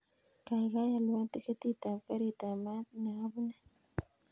Kaigaigai alwon tiketit ap karit ap maat napune